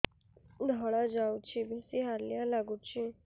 ଧଳା ଯାଉଛି ବେଶି ହାଲିଆ ଲାଗୁଚି